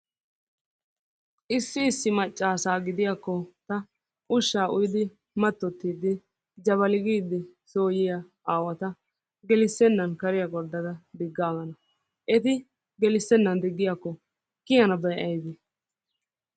Issi issi maccaasaa gidiyakko ta ushshaa uyidi mattottiiddi jabali giidi soo yiya aawata gelissennan kariya gorddada diggaaggana. Eti gelissennan diggiyakko kiyanabay ayibee?